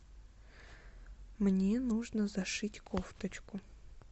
мне нужно зашить кофточку